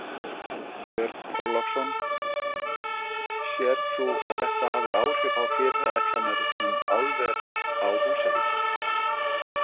Björn Þorláksson: Sérð þú að þetta hafi áhrif á fyrirætlanir um álver á Húsavík?